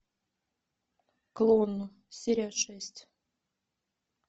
клон серия шесть